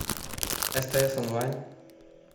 стс онлайн